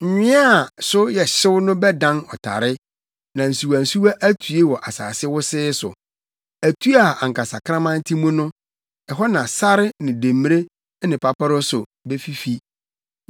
Nwea a so yɛ hyew no bɛdan ɔtare, na nsuwansuwa atue wɔ asase wosee so. Atu a anka sakraman te mu no, ɛhɔ na sare ne demmire ne paparɔso befifi.